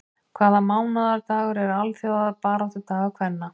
Hvaða mánaðardagur er alþjóðabaráttudagur kvenna?